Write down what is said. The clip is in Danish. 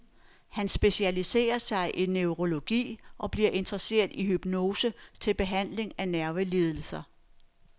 Han specialiserer sig i neurologi og bliver interesseret i hypnose til behandling af nervelidelser.